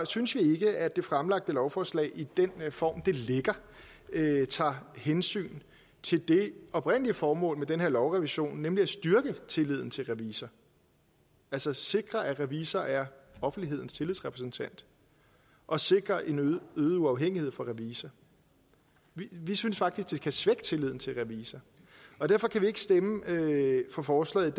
synes vi ikke at det fremlagte lovforslag i den form det ligger i tager hensyn til det oprindelige formål med den her lovrevision nemlig at styrke tilliden til revisor altså sikre at revisor er offentlighedens tillidsrepræsentant og sikre en øget uafhængighed for revisor vi synes faktisk at det kan svække tilliden til revisor og derfor kan vi ikke stemme for forslaget